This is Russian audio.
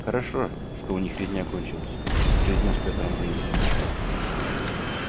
хорошо что у них резня кончилась произнёс пётр андреевич